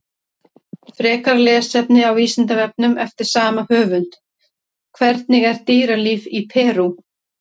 Frekara lesefni á Vísindavefnum eftir sama höfund: Hvernig er dýralíf í Perú?